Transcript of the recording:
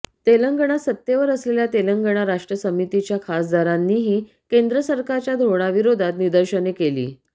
तेलंगणात सत्तेवर असलेल्या तेलंगणा राष्ट्र समितीच्या खासदारांनीही केंद्र सरकारच्या धोरणाविरोधात निदर्शने केली